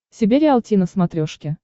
себе риалти на смотрешке